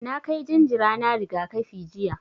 Na kai jinjira na rigakafi jiya.